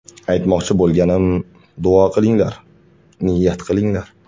Aytmoqchi bo‘lganim, duo qilinglar, niyat qilinglar.